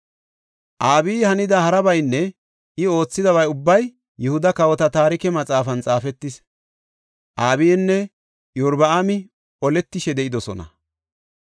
Abiyi hanida harabaynne I oothidaba ubbay Yihuda Kawota Taarike Maxaafan xaafetis. Abiyinne Iyorbaami oletishe de7idosona.